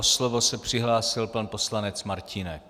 O slovo se přihlásil pan poslanec Martínek.